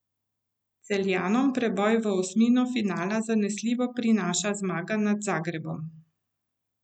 Celjanom preboj v osmino finala zanesljivo prinaša zmaga nad Zagrebom.